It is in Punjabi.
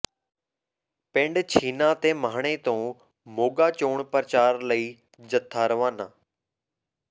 ਪਿੰਡ ਛੀਨਾ ਤੇ ਮਾਹਣੇ ਤੋਂ ਮੋਗਾ ਚੋਣ ਪ੍ਰਚਾਰ ਲਈ ਜਥਾ ਰਵਾਨਾ